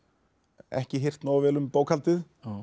ekki hirt nógu vel um bókhaldið